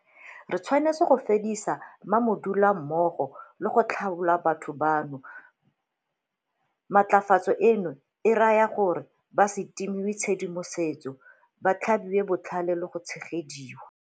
Re tshwanetse go fedisa ma-modula mmogo le go tlhaola batho bano. Matlafatso eno e raya gore ba se timiwe tshedimosetso, ba tlhabiwe botlhale le go tshegediwa.